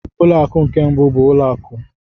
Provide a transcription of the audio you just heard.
Ụlọ akụ nke mbụ bụ ụlọ akụ.